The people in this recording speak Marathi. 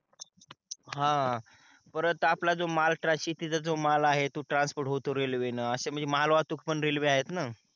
हा परत आपला जो माल शेतीचा जो माल आहे तो ट्रान्स्पोर्ट होतो रेलवे न अशे मालवाहकतुक पण रेल्वे आहेत न